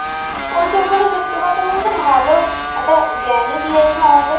ওই সবগুলো সত্যি কথা বলতে ভালো একটা জ্ঞানই দিয়েছে আমাদের